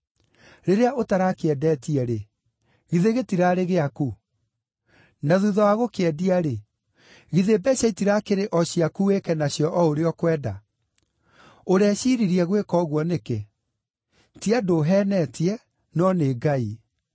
Rĩrĩa ũtarakĩendetie-rĩ, githĩ gĩtirarĩ gĩaku? Na thuutha wa gũkĩendia-rĩ, githĩ mbeeca itirakĩrĩ o ciaku wĩke nacio o ũrĩa ũkwenda? Ũreciiririe gwĩka ũguo nĩkĩ? Ti andũ ũheenetie, no nĩ Ngai.”